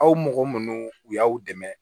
Aw mɔgɔ munnu u y'aw dɛmɛ